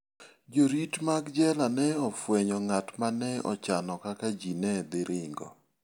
Jorit mag jela ne ofwenyo ng'at ma ne ochano kaka ji ne dhi ringo.